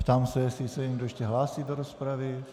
Ptám se, jestli se někdo ještě hlásí do rozpravy.